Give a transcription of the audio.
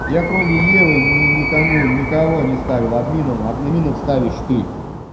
я кроме евы ни никому никого не ставил админом админом вставишь ты